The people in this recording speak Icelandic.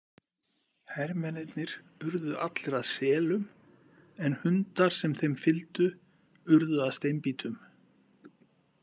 Hermennirnir urðu allir að selum en hundar sem þeim fylgdu urðu að steinbítum.